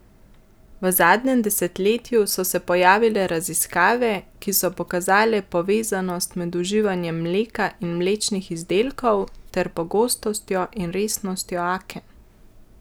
V zadnjem desetletju so se pojavile raziskave, ki so pokazale povezanost med uživanjem mleka in mlečnih izdelkov ter pogostnostjo in resnostjo aken.